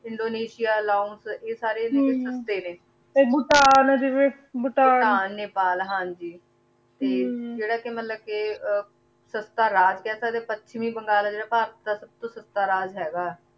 Indonesia ਲੁੰਸ ਆਯ ਸਾਰੇ ਸਸਤੇ ਨੇ ਤੇ ਭੂਤਾਂ ਜਿਵੇਂ ਭੂਤਾਂ ਨੈਪਾਲ ਹਾਂਜੀ ਜੇਰਾ ਕੇ ਮਤਲਬ ਕੇ ਪਾਸ਼੍ਚ੍ਮੀ ਬੰਗਾਲ ਜੇਰਾ ਭਾਰਤ ਸਾਕਤ ਤੋਂ ਸਕਤਾ ਰਾਜ ਹੇਗਾ ਆਯ